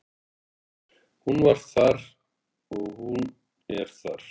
Hún var þar og hún er þar.